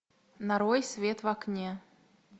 нарой свет в окне